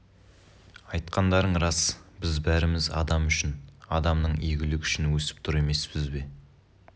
айтқандарың рас біз бәріміз адам үшін адамның игілігі үшін өсіп тұр емеспіз бе